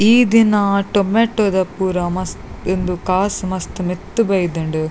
ಈ ದಿನ ಟೊಮೆಟೊ ದ ಪೂರ ಮಸ್ತ್ ಉಂದು ಕಾಸ್ ಮಸ್ತ್ ಮಿತ್ತ್ ಬೈದ್ಂಡ್.